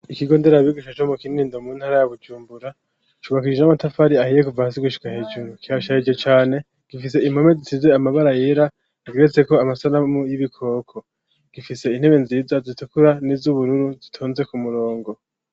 Ikigo nderabigisha co mu Kinindo mu ntara ya Bujumbura cubakishijwe 'amatafari ahiye kuvahasi gushika hejuru kirasharije cane gifise impome isize amabara yera rigiretse ko amasanamu y'ibikoko .Gifise intebe nziza zitukura n'iz'ubururu zitonze ku murongo.